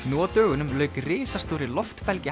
nú á dögunum lauk risastórri